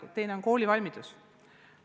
Teine küsimus on koolivalmidus.